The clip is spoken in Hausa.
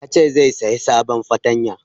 Yace zai saya sabon fartanya